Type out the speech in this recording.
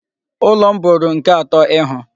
Ụlọ m bụrụ nke atọ ịhụ.